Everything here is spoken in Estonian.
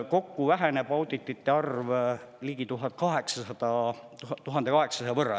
Kokku väheneb auditite arv ligi 1800 võrra.